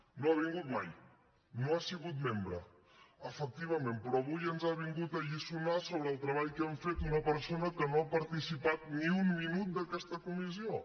no ha vingut mai no n’ha sigut membre efectivament però avui ens ha vingut a alliçonar sobre el treball que hem fet una persona que no ha participat ni un minut en aquesta comissió